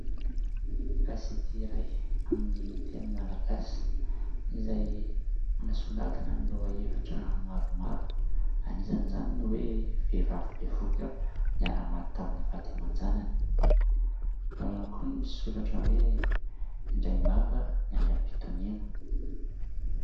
gazet iray amin'ny teny malagasy izay manasongadina ny lohahevitra maro anisan' izany ny hoe vehivavy bevohoka niara-maty tamin'ny vady aman-janany , ao ihany koa ny misoratra hoe indraimbava niandry am-pitoniana